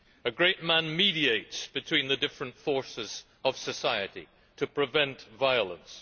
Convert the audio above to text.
A great man mediates between the different forces of society to prevent violence.